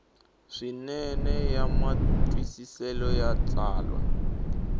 swinene ya matwisiselo ya tsalwa